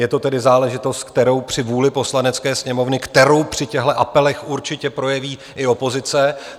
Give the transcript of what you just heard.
Je to tedy záležitost, kterou - při vůli Poslanecké sněmovny - kterou při těchhle apelech určitě projeví i opozice.